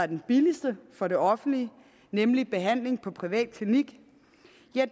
den billigste for det offentlige nemlig behandling på privatklinik